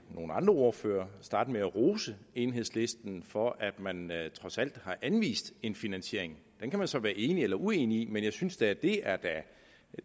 nogle andre ordførere starte med at rose enhedslisten for at man trods alt har anvist en finansiering den kan man så være enig eller uenig i men jeg synes da at det er